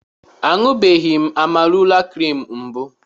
A ṅụbeghị m Amarula krim mbụ.